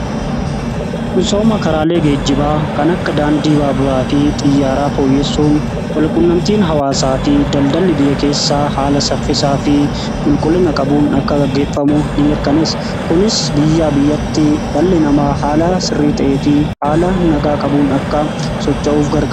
Misooma karaalee geejibaa kan akka daandii Baaburaa fi Xiyyaaraa fooyyessuun walquunnamtiin hawaasaa fi daldalli biyya keessaa haala saffisaa fi qulqullina qabuun akka gaggeeffamu nimirkaneessa. Kunis biyyaa biyyatti dhalli namaa haala sirrii ta'ee fi haala nagaa qabuun akka socho'uuf gargaara.